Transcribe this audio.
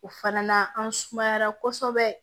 O fana na an sumayara kosɛbɛ